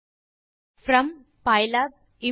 இந்த லைன் ஐ இரண்டாவது லைன் ஆக